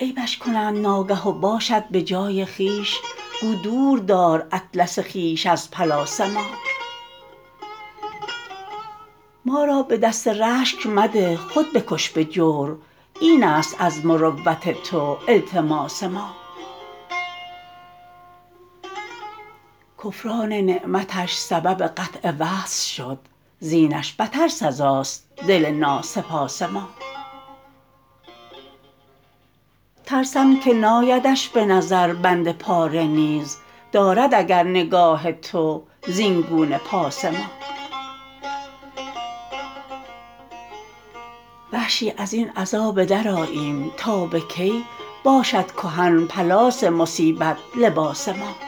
عیبش کنند ناگه و باشد به جای خویش گو دور دار اطلس خویش از پلاس ما ما را به دست رشک مده خود بکش به جور اینست از مروت تو التماس ما کفران نعمتش سبب قطع وصل شد زینش بتر سزاست دل ناسپاس ما ترسم که نایدش به نظر بند پاره نیز دارد اگر نگاه تو زینگونه پاس ما وحشی ازین عزا بدرآییم تا به کی باشد کهن پلاس مصیبت لباس ما